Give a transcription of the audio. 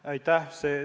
Aitäh!